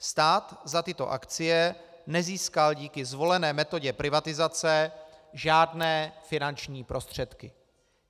Stát za tyto akcie nezískal díky zvolené metodě privatizace žádné finanční prostředky.